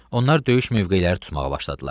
Onlar döyüş mövqeləri tutmağa başladılar.